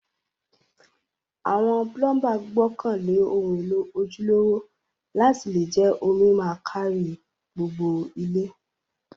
Àwon plumber gbókàn lé oun élò ojúlówó láti le je omi ma kárí gbogbo ilé